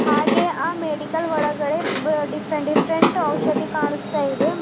ಹಾಗೆ ಆ ಮೆಡಿಕಲ್ ಒಳಗಡೆ ಬ ಡಿಫ್ರೆಂಟ್ ಡಿಫ್ರೆಂಟ್ ಔಷಧಿ ಕಾಣಿಸುತ್ತಾ ಇದೆ ಮತ್--